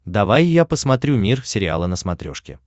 давай я посмотрю мир сериала на смотрешке